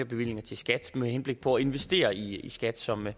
bevillinger til skat med henblik på at investere i skat som er